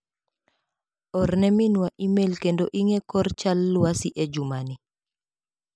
Orne minwa imel kendo ing'e kor chal lwasi e juma ni.